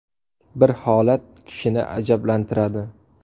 Bir holat kishini ajablantiradi.